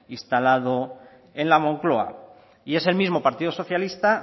instalado en la moncloa y es el mismo partido socialista